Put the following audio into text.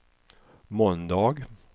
måndag